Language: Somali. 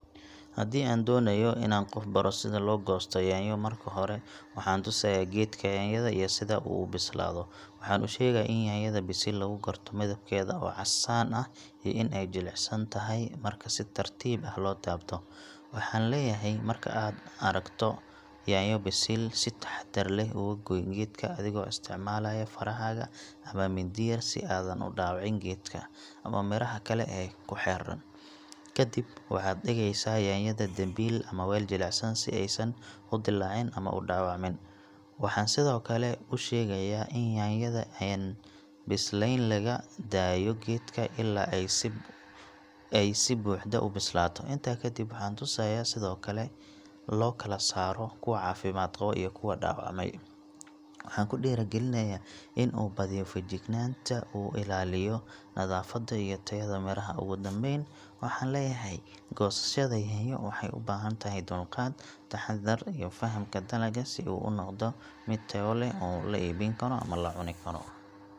Haddii aan doonayo inaan qof baro sida loosoo goosto yaanyo, marka hore waxaan tusayaa geedka yaanyada iyo sida uu u bislaado. Waxaan u sheegayaa in yaanyada bisil lagu garto midabkeeda oo casaan ah iyo in ay jilicsan tahay marka si tartiib ah loo taabto. Waxaan leeyahay, marka aad aragto yaanyo bisil, si taxaddar leh uga gooy geedka adigoo isticmaalaya farahaaga ama mindi yar si aadan u dhaawicin geedka ama midhaha kale ee ku xeeran. Kadib waxaad dhigeysaa yaanyada dambiil ama weel jilicsan si aysan u dilaacin ama u dhaawacmin. Waxaan sidoo kale u sheegayaa in yaanyada aan bislayn laga daayo geedka ilaa ay si buuxda u bislaato. Intaa kadib, waxaan tusayaa sida loo kala saaro kuwa caafimaad qaba iyo kuwa dhaawacmay. Waxaan ku dhiirrigelinayaa in uu badiyo feejignaanta oo uu ilaaliyo nadaafadda iyo tayada midhaha. Ugu dambayn, waxaan leeyahay, goosashada yaanyo waxay u baahan tahay dulqaad, taxaddar iyo fahamka dalagga si uu u noqdo mid tayo leh oo la iibin karo ama la cuni karo.